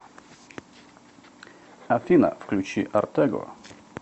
афина включи артего